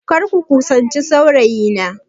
Kar ku kusanci saurayina!